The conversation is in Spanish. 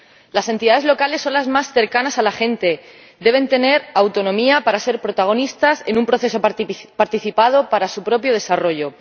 Las entidades locales son las más cercanas a la gente y deben tener autonomía para ser protagonistas en un proceso participado para su propio desarrollo.